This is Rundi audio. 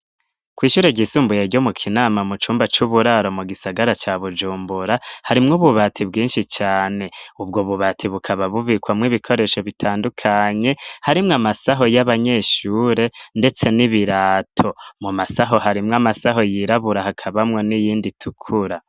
Kw'ishure ryi'sumbuye ryo mu Kinama mu cumba cuburaro mu gisagara ca Bujumbura harimwo ububati bwinshi cane .Ibwo bubati bukaba bubikwa mu ibikoresho bitandukanye harimwe amasaho y'abanyeshure ndetse n'ibirato mu masaho harimwe amasaho yirabura hakabamwo n'iyindi itukura.